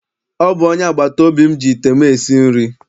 Ọ bụ onye agbataobi m ji ite m esi nri.